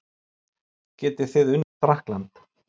Getið þið unnið Frakkland?